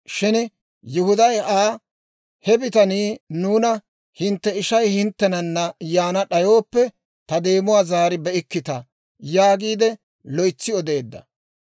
Shin Yihuday Aa, «He bitanii nuuna, ‹Hintte ishay hinttenana yaana d'ayooppe, ta deemuwaa zaari be'ikkita› yaagiide loytsi odeedda.